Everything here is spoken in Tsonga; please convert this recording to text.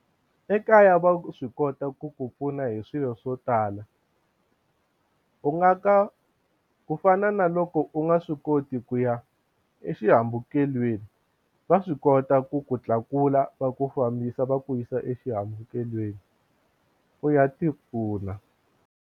Ekaya va swi kota ku ku pfuna hi swilo swo tala u nga ka ku fana na loko u nga swi koti ku ya exihambukelweni va swi kota ku ku tlakula va ku fambisa va ku yisa exihambukelweni u ya tipfuna.